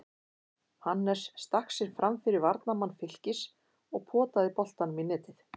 Hannes stakk sér framfyrir varnarmann Fylkis og potaði boltanum í netið.